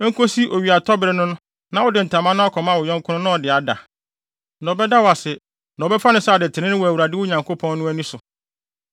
Enkosi owiatɔbere no na wode ntama no akɔma wo yɔnko no na ɔde ada. Na ɔbɛda wo ase, na wɔbɛfa no sɛ ade trenee wɔ Awurade, wo Nyankopɔn no, ani so.